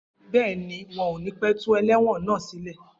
Bẹẹni, wọn o ní pẹ tú ẹlẹ́wọ̀n náà sílẹ̀.